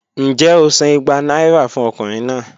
Njẹ o san igba naira fun ọkunrin naa?